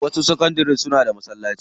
Wasu sakandari suna da masallaci.